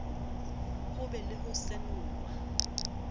ho be le ho senolwa